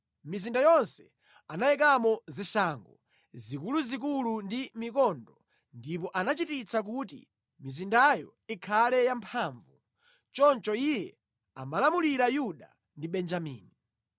Mʼmizinda yonse anayikamo zishango zikuluzikulu ndi mikondo, ndipo anachititsa kuti mizindayo ikhale yamphamvu. Choncho iye amalamulira Yuda ndi Benjamini.